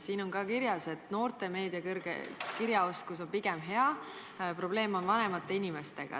Siin on ka kirjas, et noorte meediakirjaoskus on pigem hea, probleem on vanemate inimestega.